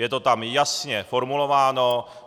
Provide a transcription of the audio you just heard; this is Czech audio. Je to tam jasně formulováno.